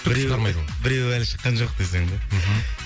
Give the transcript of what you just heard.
біреуі біреуі әлі шыққан жоқ десең да мхм